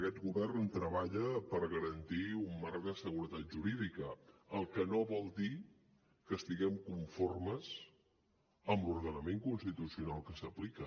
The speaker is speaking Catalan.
aquest govern treballa per garantir un marc de seguretat jurídica el que no vol dir que estiguem conformes amb l’ordenament constitucional que s’aplica